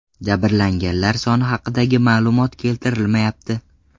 Jabrlanganlar soni haqidagi ma’lumot keltirilmayapti.